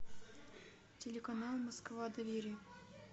телеканал москва доверие